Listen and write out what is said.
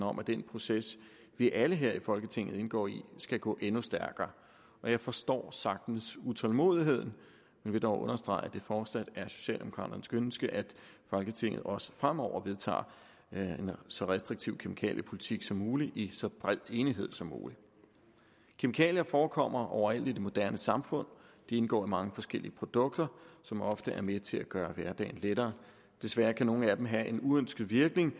om at den proces vi alle her i folketinget indgår i skal gå endnu stærkere jeg forstår sagtens utålmodigheden men vil dog understrege at det fortsat er socialdemokraternes ønske at folketinget også fremover vedtager en så restriktiv kemikaliepolitik som muligt i så bred enighed som muligt kemikalier forekommer overalt i det moderne samfund de indgår i mange forskellige produkter som ofte er med til at gøre hverdagen lettere desværre kan nogle af dem have en uønsket virkning